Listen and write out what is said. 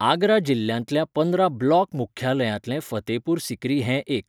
आगरा जिल्ल्यांतल्या पंदरा ब्लॉक मुख्यालयांतलें फतेहपूर सिक्री हें एक.